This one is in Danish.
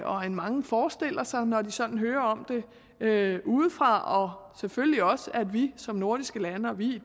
og end mange forestiller sig når de sådan hører om det udefra og selvfølgelig også at vi som nordiske lande og vi